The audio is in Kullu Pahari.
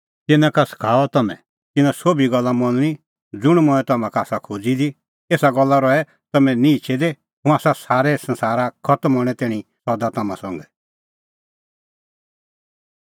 तिन्नां का सखाऊआ तम्हैं तिन्नां सोभी गल्ला मनणी ज़ुंण मंऐं तम्हां का आसा खोज़ी दी एसा गल्ला लै रहै तम्हैं निहंचै दी हुंह आसा संसार खतम हणैं तैणीं सदा तम्हां संघै